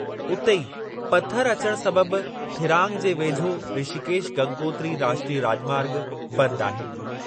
उते ई, पथर अचणु सबबि थिरांग जे वेझो ऋषिकेश गंगोत्री राष्ट्रीय राॼमार्ग बंदि आहे।